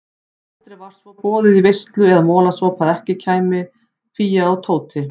Aldrei var svo boðið í veislu eða molasopa að ekki kæmu Fía og Tóti.